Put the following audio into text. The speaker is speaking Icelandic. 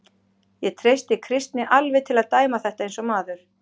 Ég treysti Kristni alveg til að dæma þetta eins og maður.